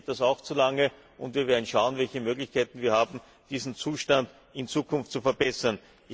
Mir geht das auch zu lange, und wir werden schauen, welche Möglichkeiten wir haben, diesen Zustand in Zukunft zu verbessern.